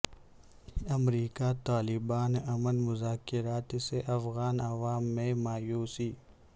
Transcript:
امریکہ طالبان امن مذاکرات سے افغان عوام میں مایوسی